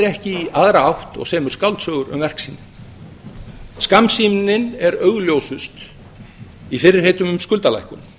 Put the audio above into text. ekki í aðra átt og semur skáldsögur um verk sín skammsýnin er augljósust í fyrirheitum um skuldalækkun